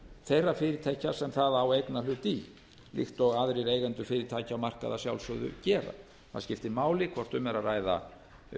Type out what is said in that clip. þeirra fyrirtækja sem það á eignarhlut í líkt og aðrir eigendur fyrirtækja og markaða að sjálfsögðu gera það skiptir máli hvort um er að ræða